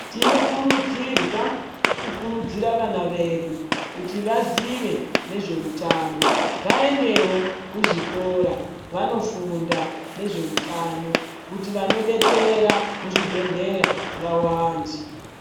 Tinokurudzirwa kukurudzira vana vedu kuti vazive nezveutano vaendevo kuzvikora vanofunda nezveutano. Kuti vanobetsera muzvibhedhlera vavande.